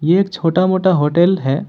एक छोटा मोटा होटल है।